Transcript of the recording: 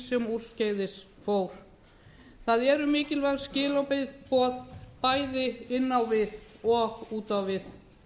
sem úrskeiðis fór það eru mikilvæg skilaboð bæði inn á við og út á við